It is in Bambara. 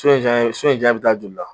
To in ja so in jaɲa bɛ taa joli la?